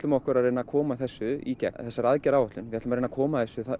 okkur að reyna að koma þessu í gegn þessari aðgerðaáætlun við ætlum að reyna að koma þessu